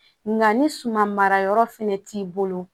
Nga ni suman mara yɔrɔ fɛnɛ t'i bolo